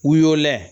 W'o lɛ